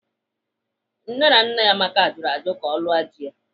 Nne na nna Amaka jụrụ ajụ ka ọ lụọ di ya.